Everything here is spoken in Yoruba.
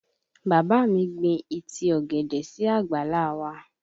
Bàbá mi gbin ìtì ọ̀gẹ̀dẹ̀ sí àgbàlá a wa